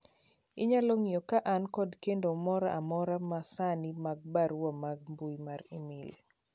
inyalo ng'iyo ka an kod kendo moro amora ma sani mag barua mar mbui mar email